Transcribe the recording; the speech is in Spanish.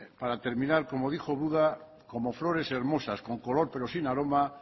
para terminar como dijo buda como flores hermosas con color pero sin aroma